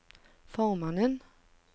formannen